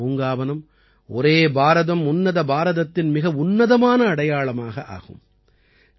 இந்த அமுதப்பூங்காவனம் ஒரே பாரதம் உன்னத பாரதத்தின் மிக உன்னதமான அடையாளமாக ஆகும்